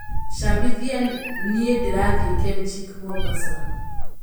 cambĩthĩa nĩ ndĩrathĩi kenchic Mombasa